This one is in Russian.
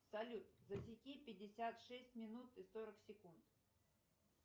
салют засеки пятьдесят шесть минут и сорок секунд